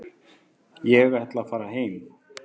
Ég ætla að fara heim.